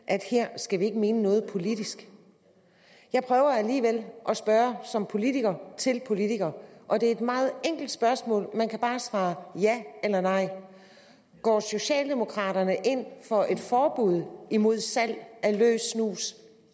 at her skal vi ikke mene noget politisk jeg prøver alligevel at spørge som politiker til politiker og det er et meget enkelt spørgsmål man kan bare svare ja eller nej går socialdemokraterne ind for et forbud mod salg af løs snus